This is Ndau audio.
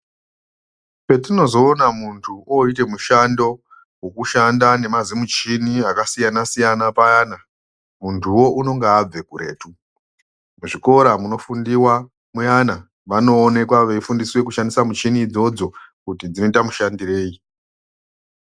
Patinozoone muntu oite mushando wekushanda nemazimuchini akasiyana siyana paana muntuwo unenge abve kuretu muzvikora munofundiwa muyana vanoonekwa veifundiswe kushandisa muchini idzodzo kuti dzoita mushandirei.